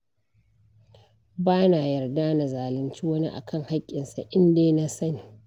Ba na yarda na zalunci wani akan haƙƙinsa indai na sani.